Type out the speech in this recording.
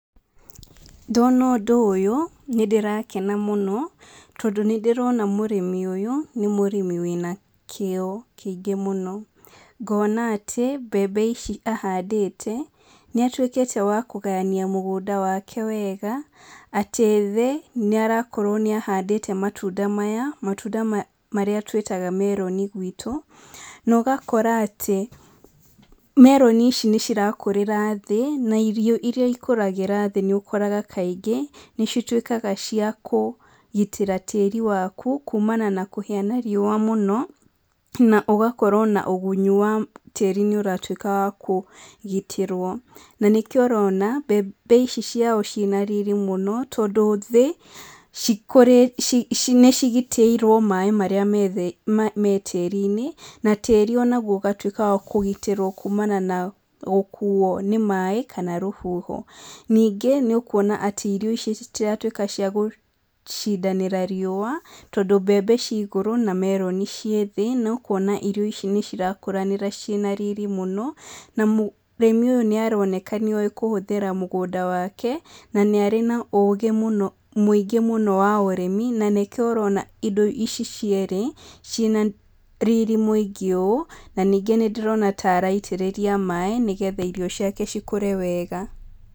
Ndona ũndũ ũyũ, nĩ ndĩrakena mũno, tondũ nĩ ndĩrona mũrĩmi ũyũ, nĩ mũrĩmi wĩna kĩo kĩingĩ mũno. Ngona atĩ, mbembe ici ahandĩte, nĩ atuĩkĩte wa kũgayania mũgũnda wake wega, atĩ thĩ, nĩ arakorwo nĩ ahandĩte matunda maya, matunda marĩa twĩtaga meroni gwitũ, na ũgakora atĩ meroni ici nĩ cirakũrĩra thĩ, na irio irĩa ikũragĩra thĩ nĩ ũkoraga kaingĩ, nĩ cituĩkaga cia kũgitĩra tĩri waku kumana na kũhĩa nĩ riũa mũno, na ũgakora ona ũgunyi wa tĩri nĩ ũratuĩka wa kũgitĩrwo. Na nĩkĩo ũrona, mbembe ici ciao ciĩna riri mũno, tondũ thĩ nĩ cigitĩirwo maĩ marĩa me thĩ me tĩri-inĩ, na tĩri ona guo ũgatuĩka wa kũgitĩrwo kumana na gũkuuo nĩ maĩ, kana rũhuho. Ningĩ, nĩ ũkuona atĩ irio ici citiratuĩka cia cindanĩra riũa, tondũ mbembe ci igũrũ na meroni ciĩ thĩ. Na ũkona irio ici nĩ cirakũranĩra ciĩna riri mũno, na mũrĩmi ũyũ nĩ aroneka nĩ oĩ kũhũthĩra mũgũnda wake, na nĩ arĩ na ũũgĩ mũno mũingĩ mũno wa ũrĩmi, na nĩkĩo ũrona indo ici cierĩ, ciĩna riri mũingĩ ũũ. Na ningĩ nĩ ndĩrona ta araitĩrĩria maĩ, nĩgetha irio ciake cikũre wega.